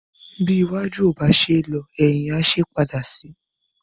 Bí iwájú ò bá ṣe é lọ, ẹ̀hìn á ṣe é padà sí.